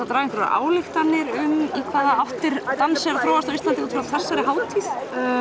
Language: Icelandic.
draga einhverja ályktanir um í hvaða áttir dans er að þróast á Íslandi út frá þessari hátíð